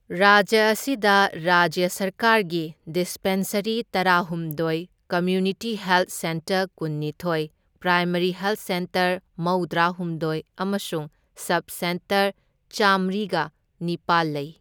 ꯔꯥꯖ꯭ꯌ ꯑꯁꯤꯗ ꯔꯥꯖ꯭ꯌ ꯁꯔꯀꯥꯔꯒꯤ ꯗꯤꯁꯄꯦꯟꯁꯔꯤ ꯇꯔꯥꯍꯨꯝꯗꯣꯢ, ꯀꯝꯃ꯭ꯌꯨꯅꯤꯇꯤ ꯍꯦꯜꯊ ꯁꯦꯟꯇꯔ ꯀꯨꯟꯅꯤꯊꯣꯢ, ꯄ꯭ꯔꯥꯏꯃꯔꯤ ꯍꯦꯜꯊ ꯁꯦꯟꯇꯔ ꯃꯧꯗ꯭ꯔꯥ ꯍꯨꯝꯗꯣꯢ ꯑꯃꯁꯨꯡ ꯁꯕ ꯁꯦꯟꯇꯔ ꯆꯥꯝꯃ꯭ꯔꯤꯒ ꯅꯤꯄꯥꯜ ꯂꯩ꯫